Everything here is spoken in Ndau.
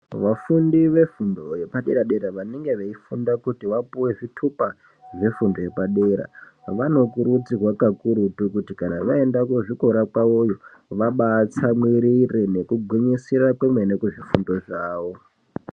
Vafundi vefundo yepadera-dera vanenge veifunda kuti vapuwe zvitupa zvefundo yepadera, vanokurudzirwa kakurutu kuti kana vaenda kuzvikora kwawoyo, vabatsamwirire nekugwinyisira kwemene kuzvifundo zvawo.